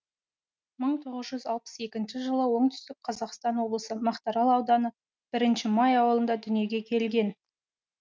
мың тоғыз жүз алпыс екінші жылы оңтүстік қазақстан облысы мақтарал ауданы бірінші май ауылында дүниеге келген